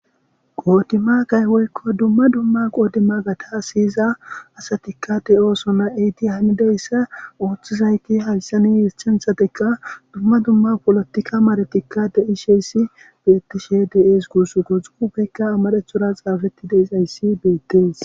qoodima kaywoykko dumma dumma qoodima gata siyiza asatikka de oosona eydi hamideyssa ooththizayti hayssani yischenthatekka dumma dumma polotikka maretikka de isheyssi bettishe de7ees guusu guxuufeykka amarethura xaafetti de izayssi beettees